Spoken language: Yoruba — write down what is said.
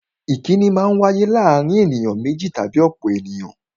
Ìkínni Maa ń wáyé láàárín ènìyàn méjì tàbí ọ̀pọ̀ ènìyàn